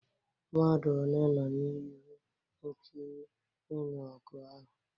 Mmadụ one nọ n'ihe nkiri ịnụ ọgụ ahụ?